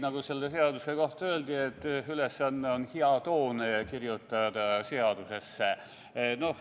Nagu selle seaduse kohta öeldi, ülesanne on kirjutada hea toon seadusesse.